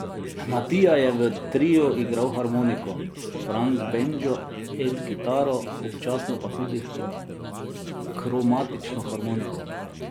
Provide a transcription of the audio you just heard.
Matija je v triu igral harmoniko, Frank bendžo, Ed kitaro, občasno pa tudi kromatično harmoniko.